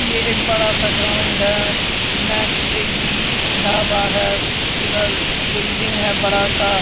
ये एक बड़ा सा ग्राउंड है मैक ए_जी ढाबा है उधर बिल्डिंग है बड़ा सा--